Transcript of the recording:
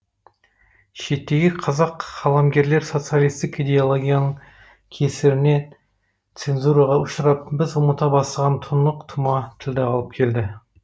шеттегі қазақ қаламгерлер социалистік идеологияның кесірінен цензураға ұшырап біз ұмыта бастаған тұнық тұма тілді алып келді